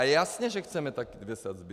A jasně že chceme taky dvě sazby.